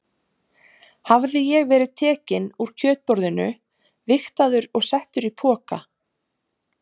Hafði ég verið tekinn úr kjötborðinu, vigtaður og settur í poka?